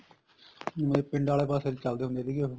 ਪਿੰਡਾਂ ਆਲੇ ਪਾਸੇ ਚੱਲਦੇ ਹੁੰਦੇ ਸੀ ਉਹ